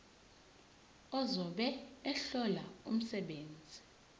ozobe ehlola umsebenzi